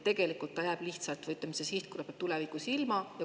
Tegelikult ta jääb, või ütleme, see sihtgrupp jääb tulevikus sellest ilma.